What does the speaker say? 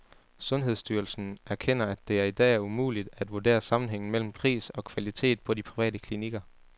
Sundhedsstyrelsen erkender, at det i dag er umuligt at vurdere sammenhængen mellem pris og kvalitet på de private klinikker.